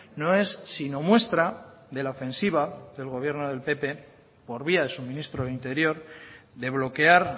no es sino muestra de la ofensiva del gobierno del pp por vía de su ministro de interior de bloquear